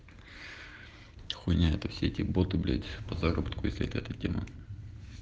хуйня это все эти боты блять по заработку если это эта тема